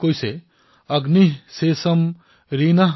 অগ্নিঃ শোষম ঋণঃ শোষম